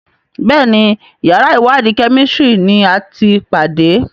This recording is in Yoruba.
Béèni yàrá iwadi Kẹ́mísìrì ní àti pàdé.